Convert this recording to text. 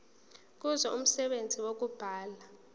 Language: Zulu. kuzo umsebenzi wokubulala